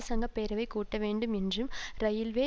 சங்க பேரவை கூட்ட வேண்டும் என்றும் இரயில்வே